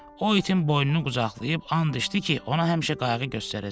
O itin boynunu qucaqlayıb and içdi ki, ona həmişə qayğı göstərəcək.